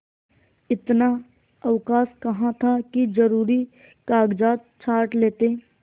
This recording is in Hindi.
इतना अवकाश कहाँ था कि जरुरी कागजात छॉँट लेते